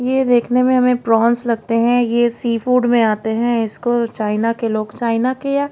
ये देखने में हमें प्रॉन्स लगते हैं ये सी फूड में आते हैं इसको चाइना के लोग चाइना के या--